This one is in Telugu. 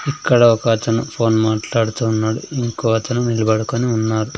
ఇక్కడ ఒక అతను ఫోన్ మాట్లాడుతూ ఉన్నాడు ఇంకో అతను నిలబడుకొని ఉన్నాడు.